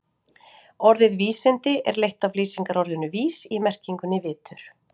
Orðið vísindi er leitt af lýsingarorðinu vís í merkingunni vitur.